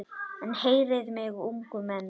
En heyrið mig ungu menn.